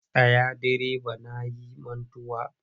Tsaya direba na yi mantuwa!